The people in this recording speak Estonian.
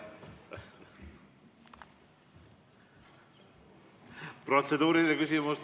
Protseduuriline küsimus.